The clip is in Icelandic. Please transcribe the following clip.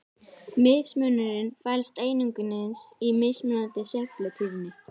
Munurinn felst einungis í mismunandi sveiflutíðni.